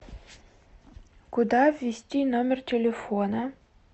куда ввести номер телефона